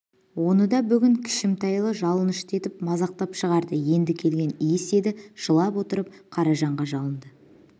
оны да бүгін кішімтайлы жалынышты етіп мазақтап шығарды енді келген иіс еді жылап отырып қаражанға жалынды